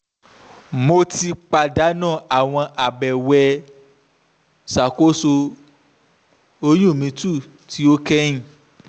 mo ti padanu awọn abẹwẹ iṣakoso oyun mi 2 ti o kẹhin